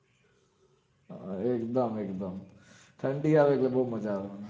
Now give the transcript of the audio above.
અમ ઠંડી આવે એટલે બવ મજા આવે મન